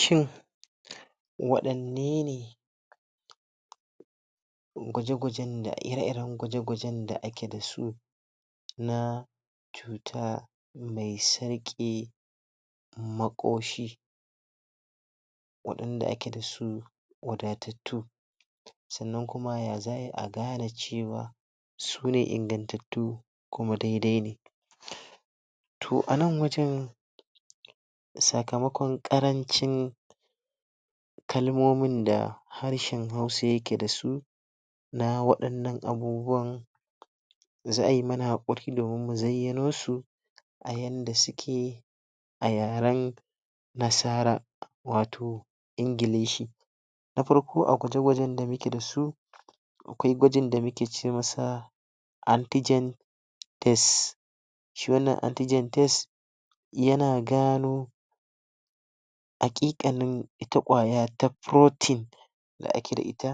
Shin wadanne ne gwaje gwajen da, ire iren gwaje gwajen da ake da su na fita me tsarke makoshi wadanda ake da su wadattatu sannan yaya za a yi a gane cewa sune inganttatu kuma daidai ne toh a nan wajen sakamakon karancin kalmomin da harshen hausa yake da su, na wadannan abubuwan, za a yi mana hakuri domin mu zaiyano su a yanda suke a yaren nasara wato ingilishi Na farko a gwaje gwajen da muke dasu akwai gwajin da muke ce masa antigen test shi wannan antigen test yana gano akikanin ita kwaya ta da ake da ita